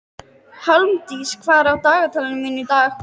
Hjálmdís, hvað er á dagatalinu mínu í dag?